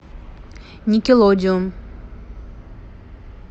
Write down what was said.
никелодеон